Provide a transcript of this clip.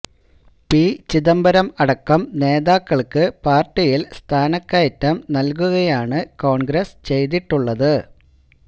P Chidambaram അടക്കം നേതാക്കൾക്ക് പാര്ട്ടിയിൽ സ്ഥാനക്കയറ്റം നൽകുകയാണ് കോൺഗ്രസ് ചെയ്തിട്ടുള്ളത്